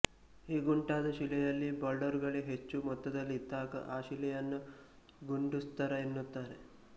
ಹೀಗುಂಟಾದ ಶಿಲೆಯಲ್ಲಿ ಬೌಲ್ಡರುಗಳೇ ಹೆಚ್ಚು ಮೊತ್ತದಲ್ಲಿ ಇದ್ದಾಗ ಆ ಶಿಲೆಯನ್ನು ಗುಂಡುಸ್ತರ ಎನ್ನುತ್ತಾರೆ